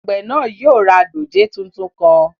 Àgbẹ̀ náà yóò ra dòjé tuntun kan